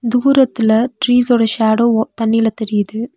தூரத்துல ட்ரீஸ்சோட ஷேடோ வ தண்ணில தெரியிது.